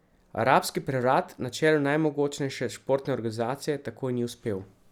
Arabski prevrat na čelu najmogočnejše športne organizacije tako ni uspel.